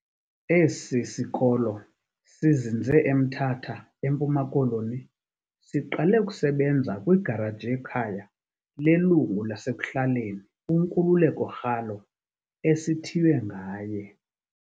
Esi sikolo, sizinze eMthatha, eMpuma Koloni, siqale ukusebenza kwigaraji yekhaya lelungu lasekuhlaleni uNkululeko Ralo, esithiywe ngaye.